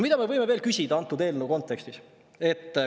Mida me võime veel küsida selle eelnõu kontekstis?